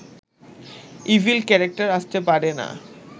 evil character আসতে পারে না